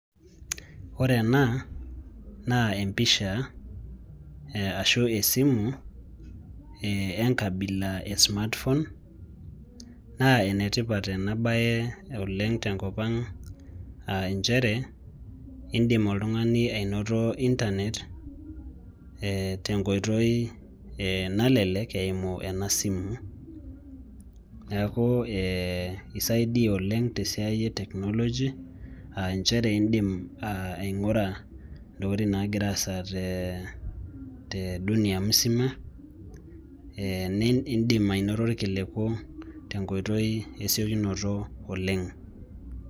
Ore ena, naa empisha ashu esimu, enkabila e smartphone, naa enetipat enabae oleng tenkop ang ah injere, idim oltung'ani ainoto Internet, tenkoitoi nalelek, eimu enasimu. Neeku isaidia oleng tesiai e technology, ah njere idim aing'ura intokiting nagira aasa te dunia musima, nidim ainoto irkiliku tenkoitoi esiokinoto oleng.